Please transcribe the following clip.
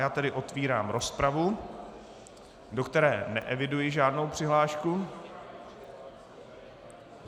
Já tedy otevírám rozpravu, do které neeviduji žádnou přihlášku.